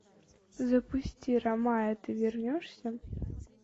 запусти рамая ты вернешься